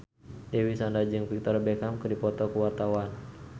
Dewi Sandra jeung Victoria Beckham keur dipoto ku wartawan